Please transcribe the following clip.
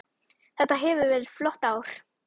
Þetta hefur verið flott ár.